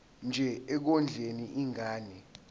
nje ekondleni ingane